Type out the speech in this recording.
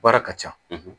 Baara ka ca